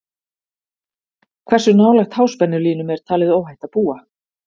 hversu nálægt háspennulínum er talið óhætt að búa